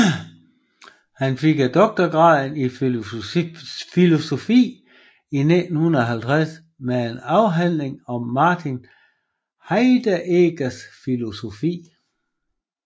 Han fik doktorgraden i filosofi i 1950 med en afhandling om Martin Heideggers filosofi